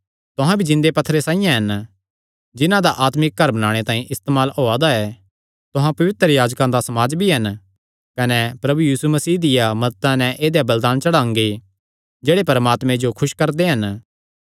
तुहां भी जिन्दे पत्थरां साइआं हन जिन्हां दा आत्मिक घर बणाणे तांई इस्तेमाल होआ दा ऐ तुहां पवित्र याजकां दा समाज भी हन कने प्रभु यीशु मसीह दिया मदता नैं ऐदेय बलिदान चढ़ांगे जेह्ड़े परमात्मे जो खुस करदे हन